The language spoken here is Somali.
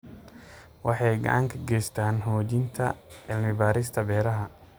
Waxay gacan ka geystaan ??xoojinta cilmi-baarista beeraha.